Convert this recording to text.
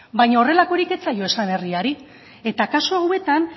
baina horrelakorik ez zaio esan herriari eta kasu hauetan